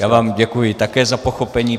Já vám děkuji také za pochopení.